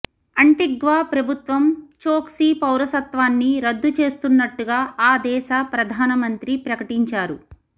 Antigua ప్రభుత్వం చోక్సీ పౌరసత్వాన్ని రద్దు చేస్తున్నట్టుగా ఆ దేశ ప్రధానమంత్రి ప్రకటించారు